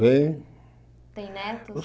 Bem Tem netos?